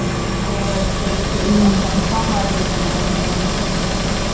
ஓ சரி சரி ஒருநாள் confirm ஆம் வரேன் டி தனம் நானு.